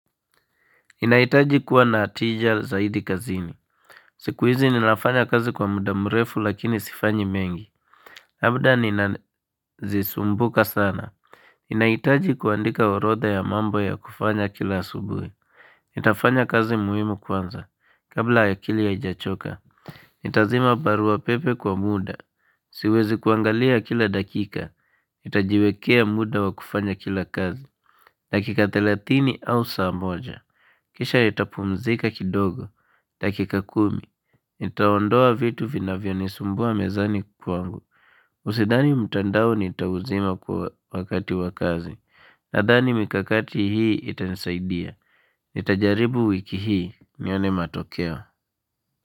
Ninahitaji kuwa na tija zaidi kazini. Siku hizi ninafanya kazi kwa muda mrefu lakini sifanyi mengi. Labda ninazisumbuka sana. Ninahitaji kuandika orodha ya mambo ya kufanya kila asubuhi. Nitafanya kazi muhimu kwanza. Kabla ya akili haijachoka. Nitazima barua pepe kwa muda. Siwezi kuangalia kila dakika. Itajiwekea muda wa kufanya kila kazi. Dakika thelathini au saa moja. Kisha itapumzika kidogo. Dakika kumi, nitaondoa vitu vinavyonisumbua mezani kwangu. Usidhani mtandao nitauzima kwa wakati wa kazi. Nadhani mikakati hii itanisaidia. Nitajaribu wiki hii, nione matokeo.